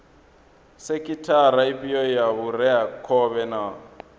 sekhithara ifhio ya vhureakhovhe na